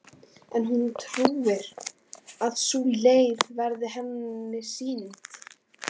En hún trúir að sú leið verði henni sýnd.